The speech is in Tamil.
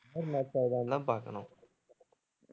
color match ஆகுதான்னுதான் பாக்கணும்